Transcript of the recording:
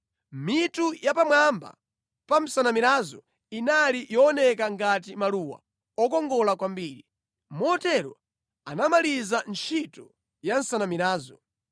Mitu ya pamwamba pa nsanamirazo inali yooneka ngati maluwa okongola kwambiri. Motero anamaliza ntchito ya nsanamirazo.